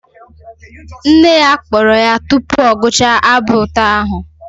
Nne ya kpọrọ ya tupu ọ gụchaa abụ ụtọ ahụ